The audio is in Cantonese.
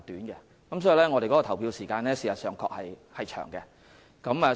因此，我們的投票時間確實偏長。